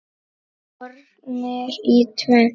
Skornir í tvennt.